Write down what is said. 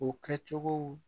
U kɛcogow